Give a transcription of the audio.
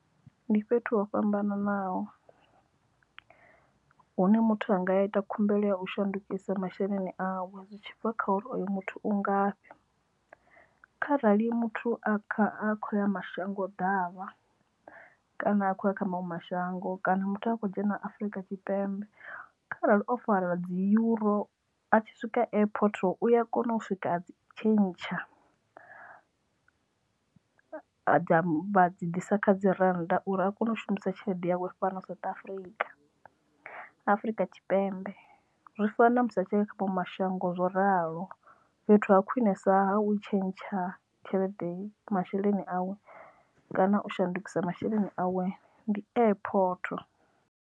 Ndi fhethu ho fhambananaho hune muthu anga ya a ita khumbelo ya u shandukisa masheleni awe zwi tshibva kha uri oyo muthu u ngafhi kharali muthu a kho ya mashango ḓavha kana a khouya kha maṅwe mashango kana muthu a kho dzhena Afurika Tshipembe kharali o fara dzi europe a tshi swika airport uya kona u swika tshentsha dza vha dzi ḓisa kha dzi rannda uri a kone u shumisa tshelede yawe fhano South Africa Afurika Tshipembe zwi fana na musi a tshelede kha shango zwo ralo fhethu ha khwinesa ha u tshentsha tshelede masheleni awe kana u shandukisa masheleni awe ndi airport.